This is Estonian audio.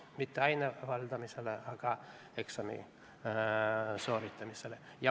Mitte aine valdamisele, vaid eksami sooritamisele.